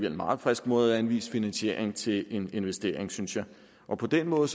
en meget frisk måde at anvise finansiering til en investering synes jeg og på den måde